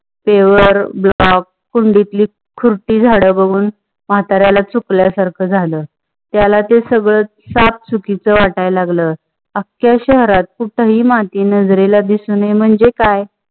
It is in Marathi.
paver block कुंडीतली कुरती झाडा बघून म्हातारेला चूपला सरका जाले. तेला ते सगले साप सुकीचे वाटाय लागले. अक्का शहरांत कुटाय माती नजरेला दिसे म्हंजे काय?